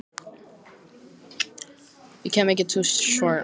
Ég gleymi því aldrei, þegar Devika fórst.